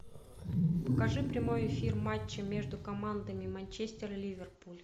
покажи прямой эфир матча между командами манчестер ливерпуль